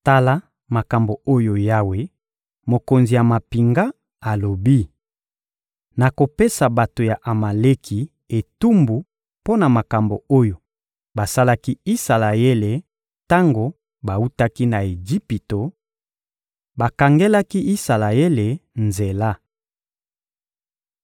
Tala makambo oyo Yawe, Mokonzi ya mampinga, alobi: ‹Nakopesa bato ya Amaleki etumbu mpo na makambo oyo basalaki Isalaele tango bawutaki na Ejipito: bakangelaki Isalaele nzela.